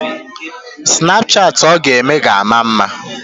Snapchatị ọ ga-eme ga-ama mma.